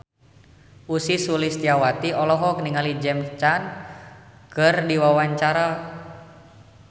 Ussy Sulistyawati olohok ningali James Caan keur diwawancara